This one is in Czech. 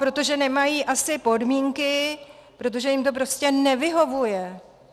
Protože nemají asi podmínky, protože jim to prostě nevyhovuje.